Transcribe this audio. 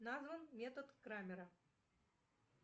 назван метод крамера